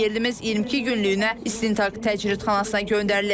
Həmyerlimiz 22 günlük istintaq təcridxanasına göndərilib.